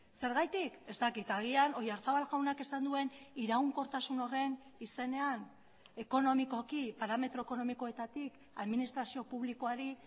zergatik ez dakit agian oyarzabal jaunak esan duen iraunkortasun horren izenean ekonomikoki parametro ekonomikoetatik administrazio publikoari